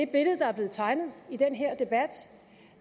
billede der er blevet tegnet i den her debat